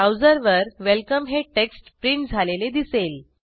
ब्राऊजरवर welcomeहे text print झालेले दिसेल